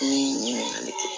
N ye ɲininkali kɛ